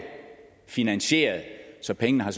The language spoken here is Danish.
finansieret så pengene har